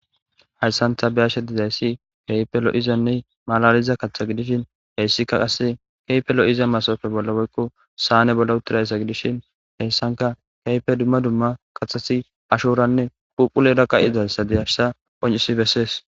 Hayissani ta beyashe dizayisi kehi loyida malalida katha bessani kehipe loyida sanne bolla utishin hayisani kehipe kaxidda kathati ashorane phuphulera betesi